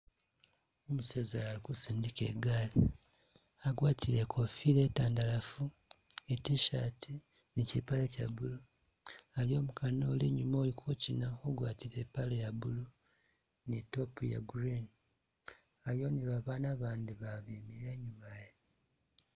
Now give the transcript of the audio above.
Umuseza uyu ali kusindika igali, agwatile ikofila itandalafu,i T'shirt, nikyipale kya blue, aliwo umukana uli inyuma uli kukyina ugwatile ipale iya blue ni top iya green, aliwo ni babana abandi ba bemile inyuma iyo